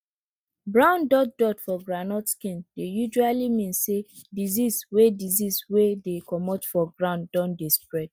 brown dot dot for groundnut skin dey usually mean say disease wey disease wey dey comot for ground don dey spread